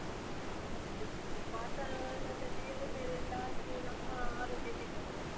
ಹೌದು, ಈ ವಾತಾವರಣದಲ್ಲಿ ಏರುಪೇರೆಲ್ಲ ಆಗಿ ನಮ್ಮ ಆರೋಗ್ಯ ಕೆಟ್ಟು ಹೋಗ್ತದೆ.